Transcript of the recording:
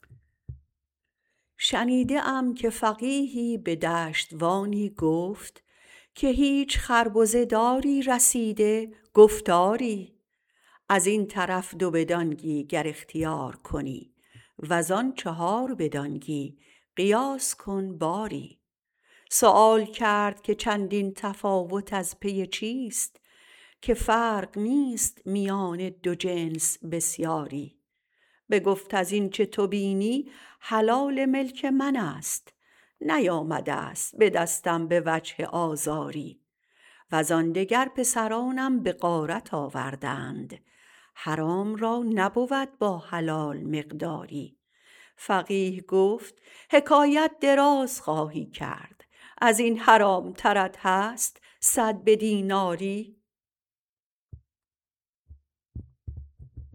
شنیده ام که فقیهی به دشتوانی گفت که هیچ خربزه داری رسیده گفت آری ازین طرف دو به دانگی گر اختیار کنی وزان چهار به دانگی قیاس کن باری سؤال کرد که چندین تفاوت از پی چیست که فرق نیست میان دو جنس بسیاری بگفت از این چه تو بینی حلال ملک منست نیامدست به دستم به وجه آزاری وزان دگر پسرانم به غارت آوردند حرام را نبود با حلال مقداری فقیه گفت حکایت دراز خواهی کرد ازین حرامترت هست صد به دیناری